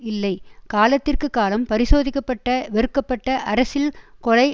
இல்லை காலத்திற்கு காலம் பரிசோதிக்கப்பட்ட வெறுக்கப்பட்ட அரசியல் கொலை